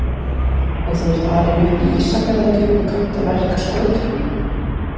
Og þú ert alinn upp í Ísafjarðardjúpi og kannt að verka skötuna?